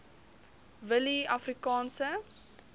willieafrikaanse